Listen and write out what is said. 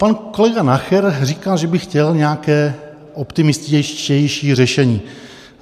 Pan kolega Nacher říká, že by chtěl nějaké optimističtější řešení.